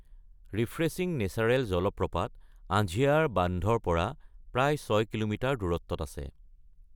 Refreshing natural জলপ্ৰপাত আঝিয়াৰ বান্ধৰ পৰা প্ৰায় ৬ কিলোমিটাৰ দূৰত্বত আছে।